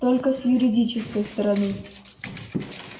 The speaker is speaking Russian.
только с юридической стороны